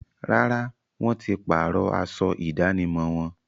Rárá, wọ́n ti páàrọ̀ aṣọ ìdánimọ̀ wọn